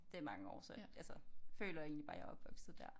Det er mange år så altså føler egentlig bare jeg er opvokset der